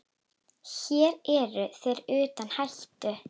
Hér eru þeir utan hættu.